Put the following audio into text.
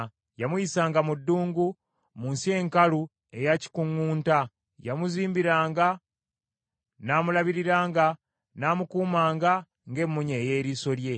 Yamuyisanga mu ddungu, mu nsi enkalu eya kikuŋŋunta. Yamuzibiranga, n’amulabiriranga, n’amukuumanga ng’emmunye ey’eriiso lye.